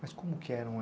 Mas como que eram